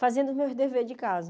fazendo os meus deveres de casa.